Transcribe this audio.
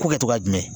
Ko kɛ togoya jumɛn